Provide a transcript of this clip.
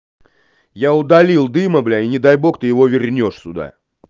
я удалил дыма блять и не дай бог ты его вернёшь сюда